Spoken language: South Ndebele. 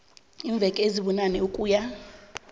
iimveke ezibunane ukuya